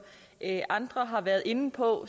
andre har været inde på